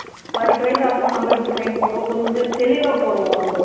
பதினெட்டு வயசு ஆகும்போது நம்ம எப்படி சைன் போடுவோம் கொஞ்சம் தெளிவா போடுவோம் நம்ம